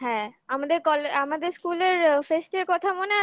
হ্যাঁ আমাদের আমাদের school এর fest এর কথা মনে আছে